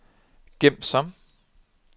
gem som